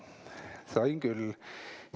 Sain küll!